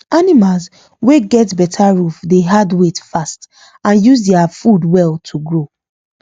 animals wey get better roof dey add weight fast and use their food well to grow